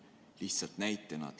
Lihtsalt näitena.